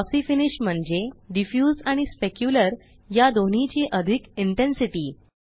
glossy finish म्हणजे diffuse आणि specular या दोन्हीची अधिक इंटेन्सिटी